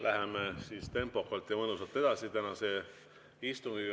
Läheme siis tempokalt ja mõnusalt edasi tänase istungiga.